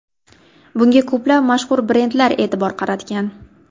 Bunga ko‘plab mashhur brendlar e’tibor qaratgan.